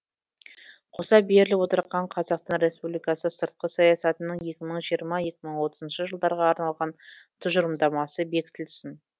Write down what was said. қоса беріліп отырған қазақстан республикасы сыртқы саясатының екі мың жиырма екі мың отызыншы жылдарға арналған тұжырымдамасы бекітілсін